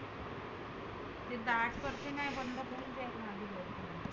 जास्त